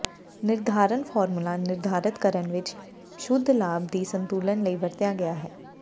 ਿਨਰਧਾਰਨ formula ਨਿਰਧਾਰਤ ਕਰਨ ਵਿੱਚ ਸ਼ੁੱਧ ਲਾਭ ਦੀ ਸੰਤੁਲਨ ਲਈ ਵਰਤਿਆ ਗਿਆ ਹੈ